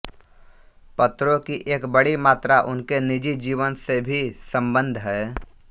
पत्रों की एक बड़ी मात्रा उनके निजी जीवन से भी सम्बद्ध है